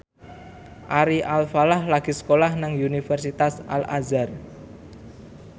Ari Alfalah lagi sekolah nang Universitas Al Azhar